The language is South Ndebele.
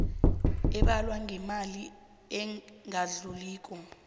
ebalwa ngemali engadluliko